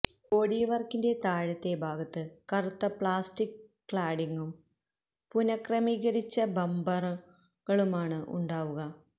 body വർക്കിന്റെ താഴത്തെ ഭാഗത്ത് കറുത്ത പ്ലാസ്റ്റിക് ക്ലാഡിംഗും പുനക്രമീകരിച്ച ബമ്പറുകളുമാണ് ഉണ്ടാവുക